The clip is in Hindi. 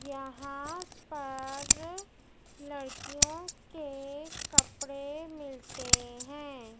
यहां पर लड़कियों के कपड़े मिलते हैं।